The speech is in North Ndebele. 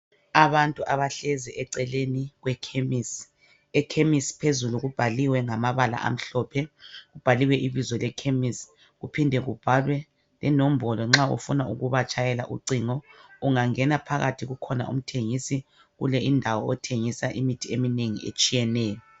Abantu abahlezi eceleni kwekhemisi ekhemisi phezulu kubhaliwe ngamabala amhlophe, kubhaliwe ibizo lekhemisi kuphindwe kubhalwe lenombolo nxa ufuna ukubatshayela ucingo ungangena phakathi kukhona umthengisi kule indawo othengisa imithi eminengi etshiyeneyo.